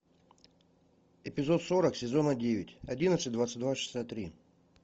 эпизод сорок сезона девять одиннадцать двадцать два шестьдесят три